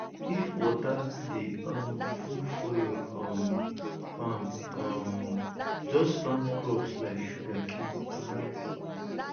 if water dey um full for your um farm um just plant crops like sugarcane and rice